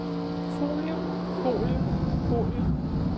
folie folie folie